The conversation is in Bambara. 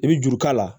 I bɛ juru k'a la